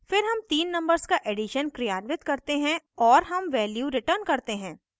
फिर हम then numbers का एडिशन क्रियान्वित करते हैं और हम value return करते हैं